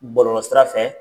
Bɔlɔlɔ sira fɛ.